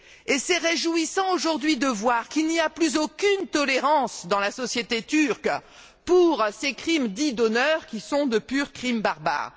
Il est donc réjouissant aujourd'hui de voir qu'il n'y a plus aucune tolérance dans la société turque pour ces crimes dits d'honneur, qui sont de purs crimes barbares.